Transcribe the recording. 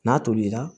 N'a tolila